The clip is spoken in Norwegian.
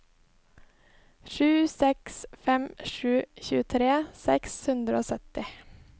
sju seks fem sju tjuetre seks hundre og sytti